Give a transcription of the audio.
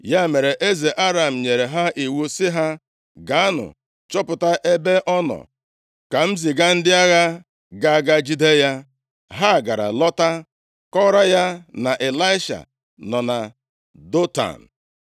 Ya mere, eze Aram nyere ha iwu sị ha, “Gaanụ, chọpụta ebe ọ nọ, ka m ziga ndị agha ga-aga jide ya.” Ha gara lọta, kọọrọ ya na Ịlaisha nọ na Dọtan.